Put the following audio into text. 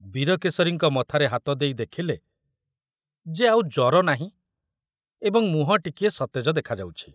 ବୀରକେଶରୀଙ୍କ ମଥାରେ ହାତ ଦେଇ ଦେଖିଲେ ଯେ ଆଉ ଜର ନାହିଁ ଏବଂ ମୁହଁ ଟିକିଏ ସତେଜ ଦେଖାଯାଉଛି।